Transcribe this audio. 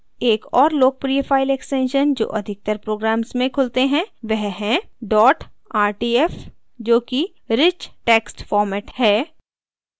एक और लोकप्रिय file extension जो अधिकतर programs में खुलते हैं वह है dot rtf जोकि rich text format है